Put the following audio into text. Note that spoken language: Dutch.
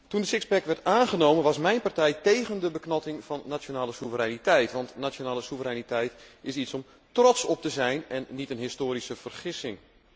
Toen het sixpack werd aangenomen was mijn partij tegen de beknotting van nationale soevereiniteit, want nationale soevereiniteit is iets om trots op te zijn en niet een historische vergissing.